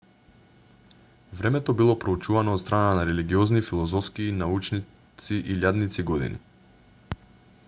времето било проучувано од страна на религиозни филозофски и научници илјадници години